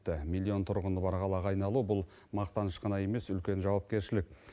миллион тұрғыны бар қалаға айналу бұл мақтаныш қана емес үлкен жауапкершілік